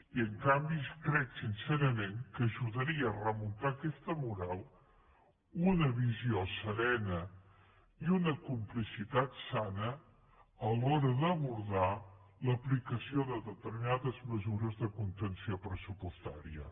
i en canvi crec sincerament que ajudaria a remuntar aquesta moral una visió serena i una complicitat sana a l’hora d’abordar l’aplicació de determinades mesures de contenció pressupostària